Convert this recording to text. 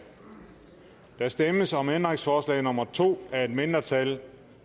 der stemmes om ændringsforslag nummer to af et mindretal